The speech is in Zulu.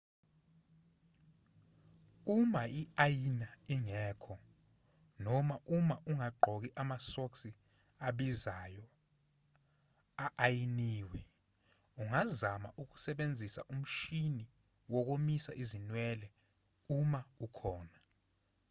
uma i-ayina ingekho noma uma ungagqoki amasokisi abizayo a-ayiniwe ungazama ukusebenzisa umshini wokomisa izinwele uma ukhona